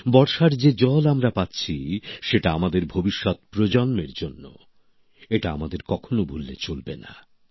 বর্ষার যে জল আমরা পাচ্ছি সেটা আমাদের ভবিষ্যত প্রজন্মের জন্য এটা আমাদের কখনো ভুললে চলবে না